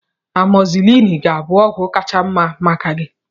Amọzilin ga-abụ ọgwụ kacha mma maka gị